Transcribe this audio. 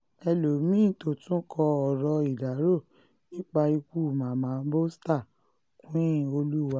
um ẹlọ́mìn-ín tó tún kọ um ọ̀rọ̀ ìdárò nípa ikú mama bosta queenoluwa